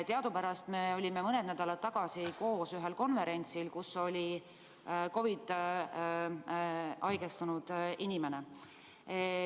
Teadupärast me olime mõni nädal tagasi koos ühel konverentsil, kus osales ka COVID-isse haigestunud inimene.